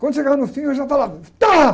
Quando chegava no fim, eu já falava tá.